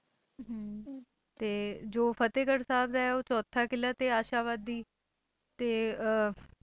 ਤੇ ਜੋ ਫਤਿਹਗੜ੍ਹ ਸਾਹਿਬ ਹੈ ਉਹ ਚੌਥਾ ਕਿਲ੍ਹਾ ਤੇ ਆਸ਼ਾਵਾਦੀ ਤੇ ਅਹ